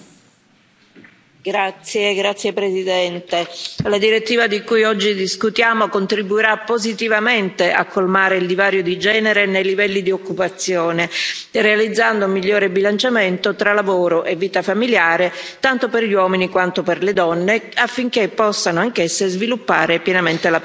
Signor Presidente, onorevoli colleghi, la direttiva di cui oggi discutiamo contribuirà positivamente a colmare il divario di genere nei livelli di occupazione, realizzando un migliore bilanciamento tra lavoro e vita familiare, tanto per gli uomini quanto per le donne, affinché possano anch'esse sviluppare pienamente la propria carriera.